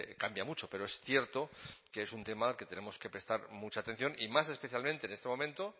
cambia mucho pero es cierto que es un tema que tenemos que prestar mucha atención y más especialmente en este momento